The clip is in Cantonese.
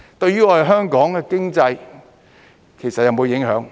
對於我們香港的經濟，其實有否影響？